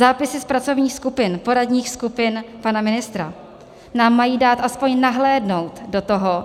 Zápisy z pracovních skupin, poradních skupin pana ministra, nám mají dát aspoň nahlédnout do toho,